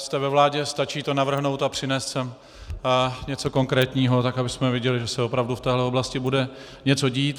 Jste ve vládě, stačí to navrhnout a přinést sem něco konkrétního tak, abychom viděli, že se opravdu v této oblasti bude něco dít.